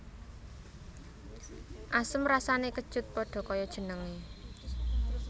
Asem rasané kecut pada kaya jenengé